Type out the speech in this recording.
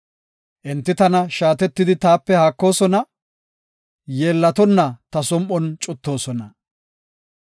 Enti tana shaatetidi taape haakoosona; yeellatonna ta som7on cuttoosona.